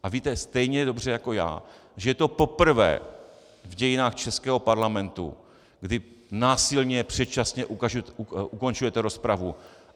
A víte stejně dobře jako já, že je to poprvé v dějinách českého parlamentu, kdy násilně předčasně ukončujete rozpravu.